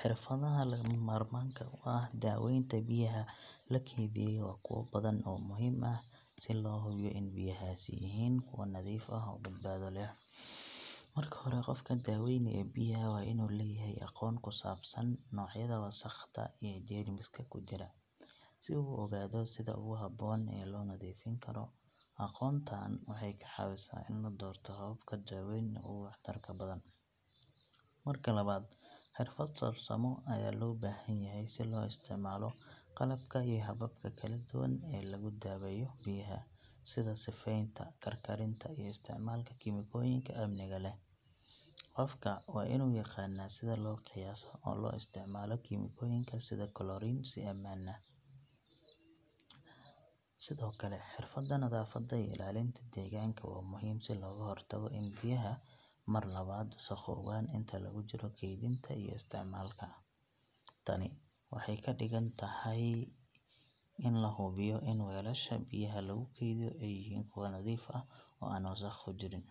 Xirfadaha lagama maarmaanka u ah daaweynta biyaha la keydiyay waa kuwo badan oo muhiim ah si loo hubiyo in biyahaasi yihiin kuwo nadiif ah oo badbaado leh. Marka hore, qofka daaweynaya biyaha waa inuu leeyahay aqoon ku saabsan noocyada wasakhda iyo jeermiska ku jira biyaha, si uu u ogaado sida ugu habboon ee loo nadiifin karo. Aqoontaan waxay ka caawisaa in la doorto hababka daaweynta ugu waxtarka badan. Marka labaad, xirfad farsamo ayaa loo baahan yahay si loo isticmaalo qalabka iyo hababka kala duwan ee lagu daweeyo biyaha, sida sifaynta, karkarinta, iyo isticmaalka kiimikooyinka amniga leh. Qofka waa inuu yaqaanaa sida loo qiyaaso oo loo isticmaalo kiimikooyinka sida chlorine si ammaan ah. Sidoo kale, xirfadda nadaafadda iyo ilaalinta deegaanka waa muhiim, si looga hortago in biyaha mar labaad wasakhoobaan inta lagu jiro kaydinta iyo isticmaalka. Tani waxay ka dhigan tahay in la hubiyo in weelasha biyaha lagu kaydiyo ay yihiin kuwo nadiif ah oo aan wasakh ku jirin.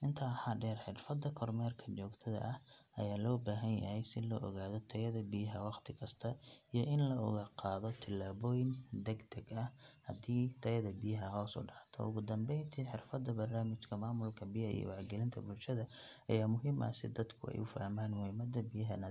Intaa waxaa dheer, xirfadda kormeerka joogtada ah ayaa loo baahan yahay si loo ogaado tayada biyaha wakhti kasta iyo in la qaado tallaabooyin degdeg ah haddii tayada biyaha hoos u dhacdo. Ugu dambeyntii, xirfadda barnaamijka maamulka biyaha iyo wacyigelinta bulshada ayaa muhiim ah si dadku ay u fahmaan muhiimada biyaha nadiifka ah .